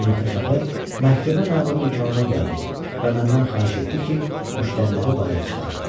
Günorta çağı məhkəmə məmuru dükanıma gəldi və məndən xahiş etdi ki, müştəriləri bayıra çıxarım.